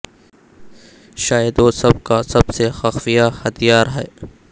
شاید وہ سب کا سب سے خفیہ ہتھیار ہے